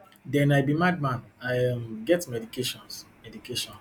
den i be madman i um get medications medications